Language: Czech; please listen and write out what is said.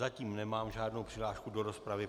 Zatím nemám žádnou přihlášku do rozpravy.